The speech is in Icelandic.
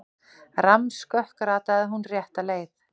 Rammskökk rataði hún rétta leið.